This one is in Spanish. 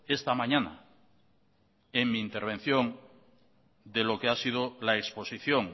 esta mañana en mi intervención de lo que ha sido la exposición